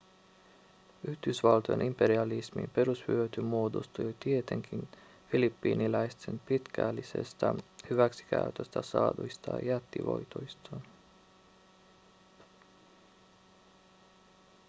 yhdysvaltojen imperialismin perushyöty muodostui tietenkin filippiiniläisten pitkällisestä hyväksikäytöstä saaduista jättivoitoista